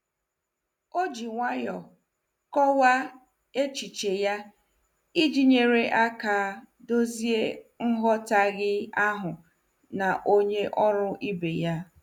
O ji nwayọọ kọwaa echiche ya iji nyere aka dozie nghọtahie ahụ na onye ọrụ ibe ya.